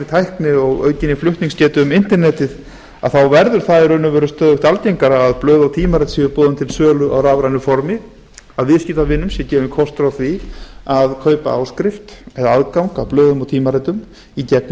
tækni og aukinni flutningsgetu um internetið verður það í raun og veru stöðugt algengara að blöð og tímarit séu boðin til sölu á rafrænu formi að viðskiptavinum sé gefinn kostur á því að kaupa áskrift eða árgang af blöðum og tímaritum í gegnum